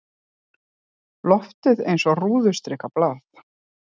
Loftið eins og rúðustrikað blað.